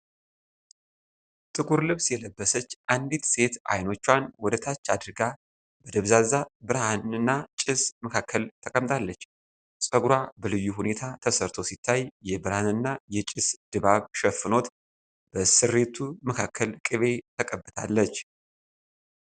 ጥቁር ልብስ የለበሰች አንዲት ሴት አይኖቿን ወደታች አድርጋ በደብዛዛ ብርሃንና ጭስ መካከል ተቀምጣለች። ፀጉሯ በልዩ ሁኔታ ተሰርቶ ሲታይ፣ የብርሃንና የጭስ ድባብ ሸፍኖት በስሬቱ መካከል ቅቤ ተቀብታለች።